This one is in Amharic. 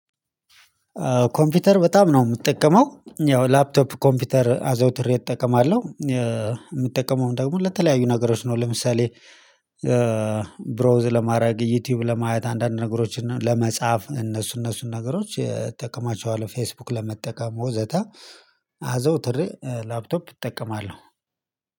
ኮምፒውተር በጣም ነው የምጠቀመው ያው ላፕቶፕ ኮምፒውተር አዘውትሬ እጠቀማለሁ የምጠቀመውም ደግሞ ለተለያዩ ነገሮች ነው። ለምሳሌ ብሮዝ ለማድረግ ዩቲዩብ ለማየት አንዳንድ ነገሮችን ለመጻፍ እነሱ እነሱን ነገሮች እጠቀማቸዋለሁ ፌስቡክ ለመጠቀም ወዘተ። አዘውትሬ ላፕቶፕ እጠቀማለሁ